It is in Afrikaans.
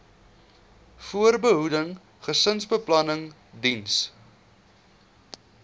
voorbehoeding gesinsbeplanning diens